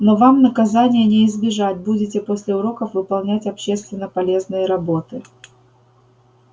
но вам наказания не избежать будете после уроков выполнять общественно полезные работы